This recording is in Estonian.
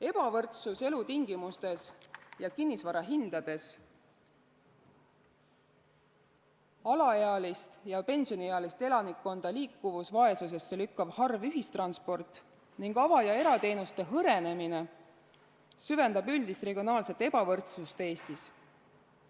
Ebavõrdsus elamistingimustes ja kinnisvarahindades, alaealist ja pensioniealist elanikkonda liikuvusvaesusesse lükkav harv ühistransport ning avalike ja erateenuste hõrenemine süvendab üldist regionaalset ebavõrdsust Eestis.